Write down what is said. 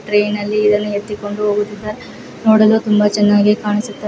Train ನಲ್ಲಿ ಇದನ್ನು ಎತ್ತಿಕೊಂಡು ಹೋಗುತ್ತಿದ್ದಾರೆ ನೋಡಲು ತುಂಬಾ ಚೆನ್ನಾಗಿ ಕಾಣಿಸುತ್ತಾದೆ.